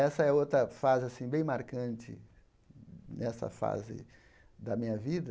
Essa é outra fase assim bem marcante nessa fase da minha vida.